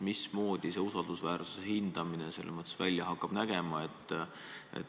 Mismoodi see usaldusväärsuse hindamine välja hakkab nägema?